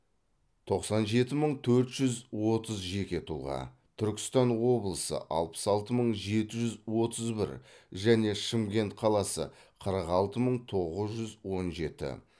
тоқсан жеті мың төрт жүз отыз жеке тұлға түркістан облысы алпыс алты мың жеті жүз отыз бір және шымкент қаласы қырық алты мың тоғыз жүз он жеті